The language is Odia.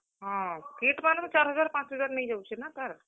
ହଁ, kit ମାନେ ବି ଚାର୍ ହଜାର୍, ପାଞ୍ଚ ହଜାର୍ ନେଇଯାଉଛେ ନା ତାର୍।